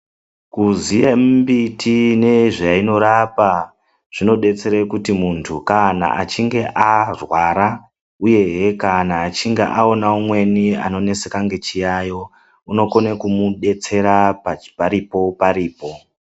Kuziya mimbiti nezvainorapa zvinodetsera kuti muntu kana achinge arwara uye he kana achinge aona umweni anoneseka nechiyayo unokona kumudetsera paripo paripo.